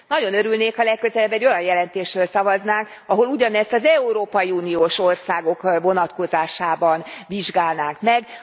Nagyon örülnék, ha legközelebb egy olyan jelentésről szavaznánk, ahol ugyanezt az európai uniós országok vonatkozásában vizsgálnánk meg.